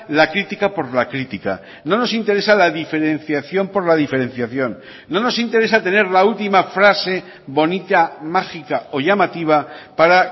la crítica por la crítica no nos interesa la diferenciación por la diferenciación no nos interesa tener la última frase bonita mágica o llamativa para